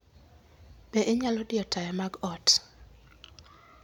Be inyalo diyo taya mag ot?